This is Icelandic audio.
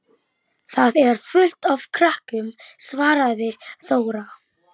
Farðu strax upp að hátta, Lóa-Lóa, sagði hún ákveðin.